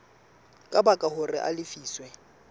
ka baka hore a lefiswe